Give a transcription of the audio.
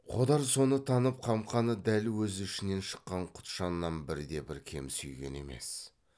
қодар соны танып қамқаны дәл өз ішінен шыққан құтжаннан бірде бір кем сүйген емес